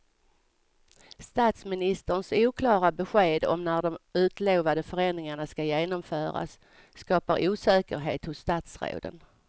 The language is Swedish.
Statsministerns oklara besked om när de utlovade förändringarna ska genomföras skapar osäkerhet hos statsråden.